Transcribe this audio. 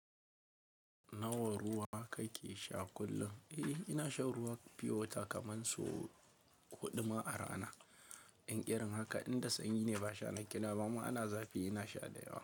Nawa ruwa kake sha kullum? Eh, ina shan ruwan piyo wata kaman so huɗu ma a rana. In ƙeran haka inda sanyi ne ba sha na kena ba, amma in ana zafi ina sha da yawa.